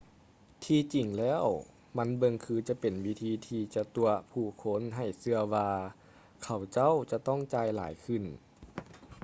ທີ່ຈິງແລ້ວ ມັນເບິ່ງຄືຈະເປັນວິທີທີ່ຈະຕົວະຜູ້ຄົນໃຫ້ເຊື່ອວ່າ ເຂົາເຈົ້າຈະຕ້ອງຈ່າຍຫຼາຍຂຶ້ນ